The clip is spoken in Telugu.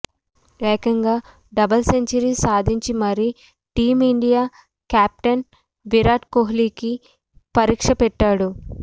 ఏకంగా డబుల్ సెంచరీ సాధించి మరీ టీమిండియా కెప్టెన్ విరాట్ కోహ్లికి పరీక్ష పెట్టాడు